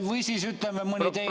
Või siis mõni teine ...